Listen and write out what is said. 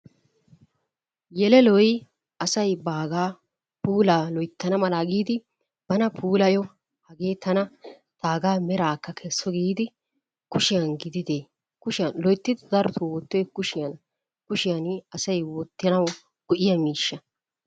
Yeleloy asay baagaa puulaa loyttana malaa giidi bana puulayo hagee tana taagaa meraakka kesso giidi kushiyan gididee, kushiyan loytti darotoo wottiyoy kushiyana. Kushiyan asay wottanawu go'iya miishsha.